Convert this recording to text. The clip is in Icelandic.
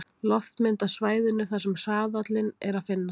Loftmynd af svæðinu þar sem hraðalinn er að finna.